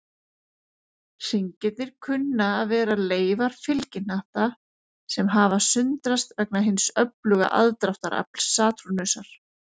Hringirnir kunna að vera leifar fylgihnatta, sem hafa sundrast vegna hins öfluga aðdráttarafls Satúrnusar.